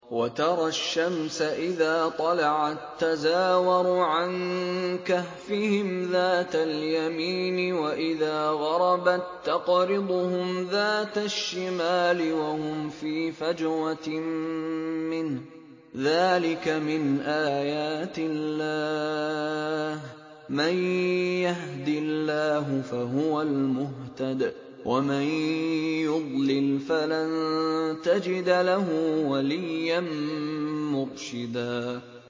۞ وَتَرَى الشَّمْسَ إِذَا طَلَعَت تَّزَاوَرُ عَن كَهْفِهِمْ ذَاتَ الْيَمِينِ وَإِذَا غَرَبَت تَّقْرِضُهُمْ ذَاتَ الشِّمَالِ وَهُمْ فِي فَجْوَةٍ مِّنْهُ ۚ ذَٰلِكَ مِنْ آيَاتِ اللَّهِ ۗ مَن يَهْدِ اللَّهُ فَهُوَ الْمُهْتَدِ ۖ وَمَن يُضْلِلْ فَلَن تَجِدَ لَهُ وَلِيًّا مُّرْشِدًا